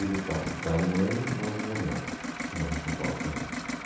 E por parte de pai e mãe, mais uma irmã que mora em São Paulo também.